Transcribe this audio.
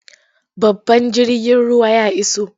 Babban jirgin ruwan ya iso.